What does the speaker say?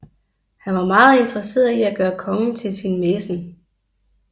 Han var meget interesseret i at gøre kongen til sin mæcen